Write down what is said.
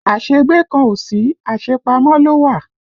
Áségbé kan ò sí, asepamo ló wà